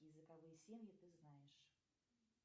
языковые семьи ты знаешь